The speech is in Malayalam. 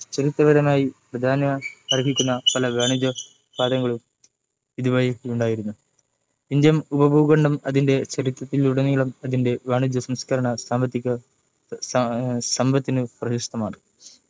ചരിത്രപരമായി പ്രാധാന്യമർഹുകുന്ന പല വാണിജ്യപാതകളും ഇതുവഴിയുണ്ടായിരുന്നു Indian ഉപഭൂഖണ്ഡം അതിന്റെ ചരിത്രത്തിലൂടെ നീളം അതിൻ്റെ വാണിജ്യ സാംസ്ക്കാരിക സാമ്പത്തിക സമ്പത്തിനു പ്രശസ്‌തമാണ്‌